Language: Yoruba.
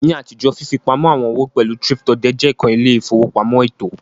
Ni atijo, fifipamọ awọn owo pẹlu thrift-odè je kan ile-ifowopamọ eto.